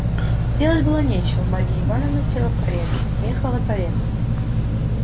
делать было нечего марья ивановна села в карету и поехала во дворец